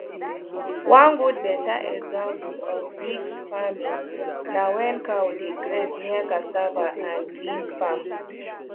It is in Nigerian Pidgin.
one good better example of mixed farming na when cows dey graze near cassava and beans farm